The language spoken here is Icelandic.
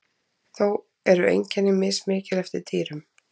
þó eru einkenni mismikil eftir dýrum